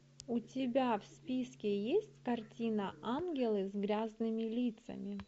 у тебя в списке есть картина ангелы с грязными лицами